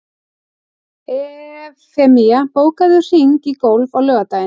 Evfemía, bókaðu hring í golf á laugardaginn.